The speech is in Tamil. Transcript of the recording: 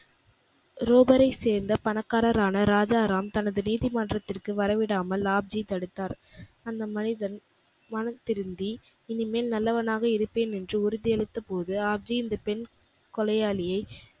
ரோபரைச் சேர்ந்த பணக்காரரான ராஜா ராம் தனது நீதிமன்றத்துக்கு வரவிடாமல் ஆப் ஜி தடுத்தார். அந்த மனிதன் மனம் திருந்தி இனிமேல் நல்லவனாக இருப்பேன் என்று உறுதி அளித்தபோது ஆப்ஜி இந்த பெண் கொலையாளியை,